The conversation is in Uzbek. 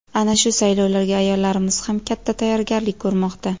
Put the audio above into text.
Ana shu saylovlarga ayollarimiz ham katta tayyorgarlik ko‘rmoqda.